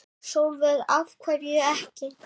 Sólveig: Af hverju ekki?